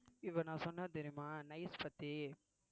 இப்ப நான் சொன்னேன் தெரியுமா nice பத்தி